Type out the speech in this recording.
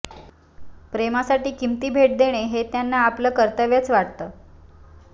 प्रेमासाठी किंमती भेट देणे हे त्यांना आपलं कर्तव्यच वाटतं